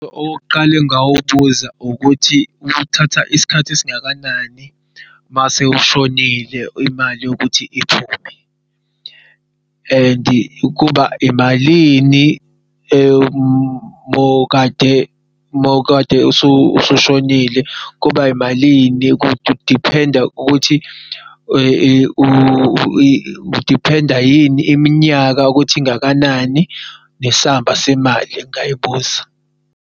Okokuqala engingawubuza ukuthi kuthatha isikhathi esingakanani mase ushonile imali yokuthi iphume and kuba imalini mawukade usu shonile? Kuba imalini, kudiphenda iminyaka ukuthi ingakanani? Nesamba semali engayibuza.